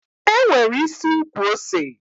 E nwere isi ukwu ose.